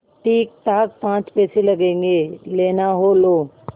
ठीकठाक पाँच पैसे लगेंगे लेना हो लो